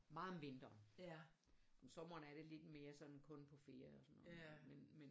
Meget mindre om sommeren er det lidt mere sådan kun på ferier og sådan noget men